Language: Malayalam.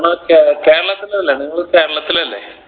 കേ കേരളത്തിലല്ലേ നിങ്ങൾ കേരളത്തിലല്ലേ